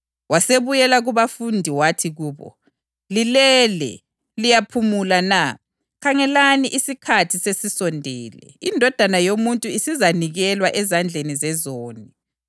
Ngakho wasebatshiya waphinda wahamba njalo wayakhuleka okwesithathu ephinda into yinye.